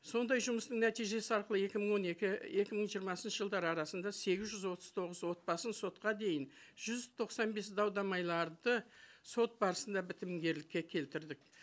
сондай жұмыстың нәтижесі арқылы екі мың он екі екі мың жиырмасыншы жылдары арасында сегіз жүз отыз тоғыз отбасын сотқа дейін жүз тоқсан бес дау дамайларды сот барысында бітімгерлікке келтірдік